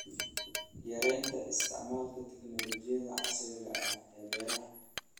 Yaraynta isticmaalka tignoolajiyada casriga ah ee beeraha.